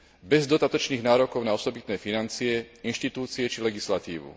bez dodatočných nárokov na osobitné financie, inštitúcie či legislatívu.